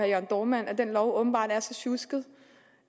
jørn dohrmann at den lov åbenbart er så sjusket